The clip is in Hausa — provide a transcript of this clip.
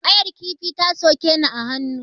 Ƙayar kifi ta soke ni a hannu.